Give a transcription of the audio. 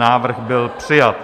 Návrh byl přijat.